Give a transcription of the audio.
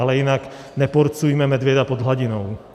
Ale jinak neporcujme medvěda pod hladinou.